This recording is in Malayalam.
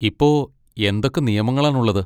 ഇപ്പോ എന്തൊക്കെ നിയമങ്ങളാണുള്ളത്?